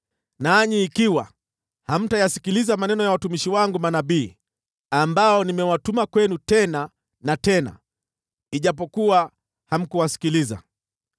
nanyi ikiwa hamtayasikiliza maneno ya watumishi wangu manabii, ambao nimewatuma kwenu tena na tena (ijapokuwa hamkuwasikiliza),